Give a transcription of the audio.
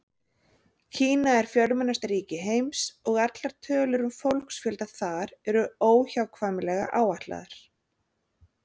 Kína er fjölmennasta ríki heims og allar tölur um fólksfjölda þar eru óhjákvæmilega áætlaðar.